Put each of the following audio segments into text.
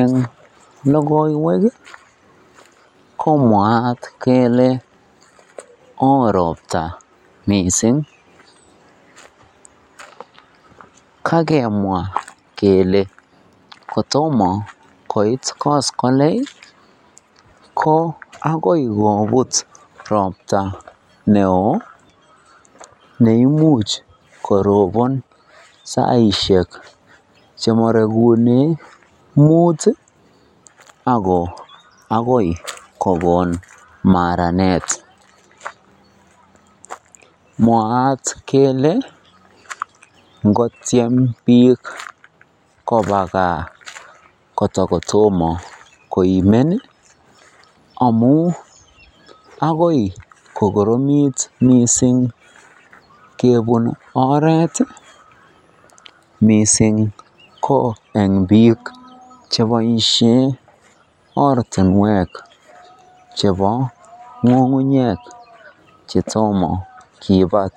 Eng lokoiwek komwaat kelee woo robta mising, kakemwa kelee kotomo koit koskoleng ko akoi kobut robta neo neimuch korobon saishek chemorekunen muut akoi kokon maranet, mwaat kelee ngotiem biik kobaa kaa kotokotomo koimen amun akoi kokoromit mising kebun oreet mising ko eng biik cheboishen ortinwek chebo ng'ung'unyek chetomo kibat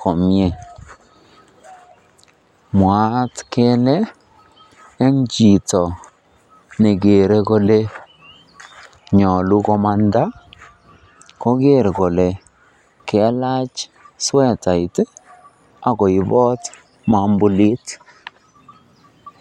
komie, mwaat kelee en chito nekere kolee nyolu komanda koker kolee kalach swetait ak koibot mombulit.